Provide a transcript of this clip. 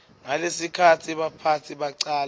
ngalesikhatsi baphatsi bacala